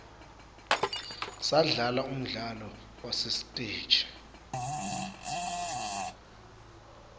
sidlala umdlalo wasesiteji